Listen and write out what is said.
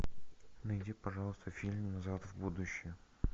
найди пожалуйста фильм назад в будущее